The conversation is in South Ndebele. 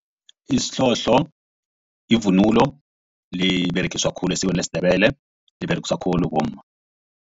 Isihlohlo yivunulo liberegisa khulu esikweni lesiNdebele liberegiswa khulu bomma.